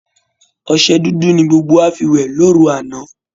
Ọṣẹ dúdú ni gbogbo wá fi wẹ̀ lóru àná